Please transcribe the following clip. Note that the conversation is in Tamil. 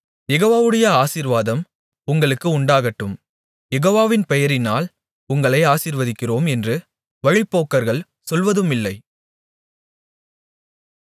யெகோவாவுடைய ஆசீர்வாதம் உங்களுக்கு உண்டாகட்டும் யெகோவாவின் பெயரினால் உங்களை ஆசீர்வதிக்கிறோம் என்று வழிப்போக்கர்கள் சொல்வதுமில்லை